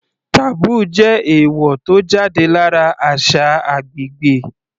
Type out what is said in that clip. Taboo jẹ́ èèwò tó jáde lára àṣà agbègbè.